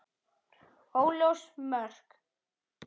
Óljós mörk.